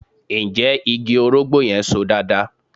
Ǹjẹ́ igi orógbó yẹn So dáadáa?